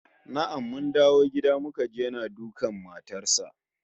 Na'am, mun dawo gida muka ji yana dukan matar sa